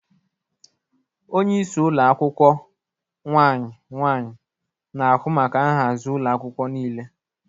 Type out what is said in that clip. Onye isi ụlọ akwụkwọ/nwanyị nwanyị na-ahụ maka nhazi ụlọ akwụkwọ niile.